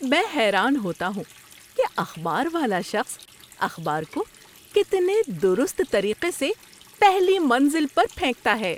میں حیران ہوتا ہوں کہ اخبار والا شخص اخبار کو کتنے درست طریقے سے پہلی منزل پر پھینکتا ہے۔